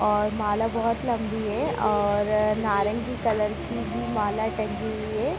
और माला बहुत लंबी है और नारंगी कलर की भी माला टंगी हुई है।